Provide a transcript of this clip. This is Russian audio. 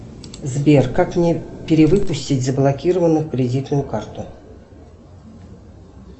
сбер как мне перевыпустить заблокированную кредитную карту